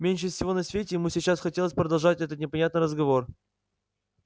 меньше всего на свете ему сейчас хотелось продолжать этот непонятный разговор